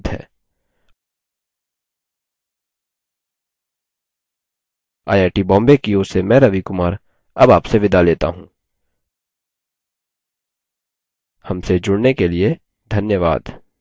I I T Bombay की ओर से मैं रवि कुमार अब आपसे विदा लेता हूँ हमसे जुड़ने के लिए धन्यवाद